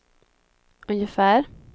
ungefär